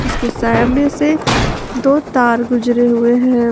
इसके सामने से दो तार गुजरे हुए हैं।